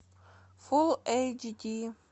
фул эйч ди